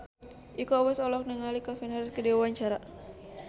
Iko Uwais olohok ningali Calvin Harris keur diwawancara